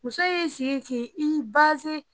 Muso i sigi k'i baze